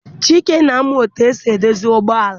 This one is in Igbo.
Chike na-amụ etu esi edozi ụgbọala.